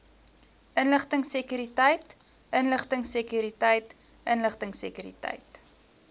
inligtingsekuriteit inligtingsekuriteit inligtingsekuriteit